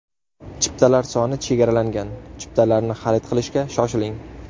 Chiptalar soni chegaralangan, chiptalarni xarid qilishga shoshiling!